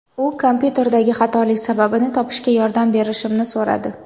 U kompyuterdagi xatolik sababini topishga yordam berishimni so‘radi.